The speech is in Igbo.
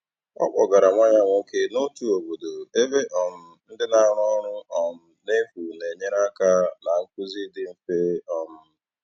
Ọ kpọgara nwa ya nwoke n'otu obodo ebe um ndị na-arụ ọrụ um n'efu na-enyere aka na nkuzi dị mfe. um